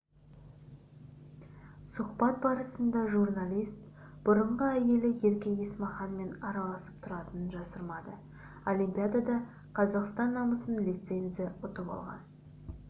сұхбат барысында журналист бұрынғы әйелі ерке есмаханмен араласып тұратынын жасырмады олимпиадада қазақстан намысын лицензия ұтып алған